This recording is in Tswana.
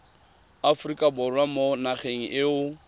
aforika borwa mo nageng eo